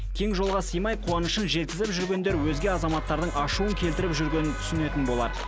кең жолға сыймай қуанышын жеткізіп жүргендер өзге азаматтардың ашуын келтіріп жүргенін түсінетін болар